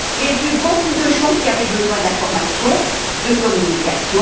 J'ai vu beaucoup de gens qui avaient besoin d'information, de communication.